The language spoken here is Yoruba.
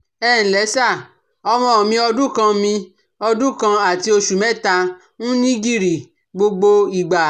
Ẹ ǹlẹ́ sà, ọmọ mi ọdún kan mi ọdún kan àti oṣù mẹ́ta ń ní gìrì gbogbo ìgbà